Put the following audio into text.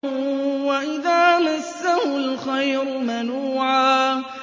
وَإِذَا مَسَّهُ الْخَيْرُ مَنُوعًا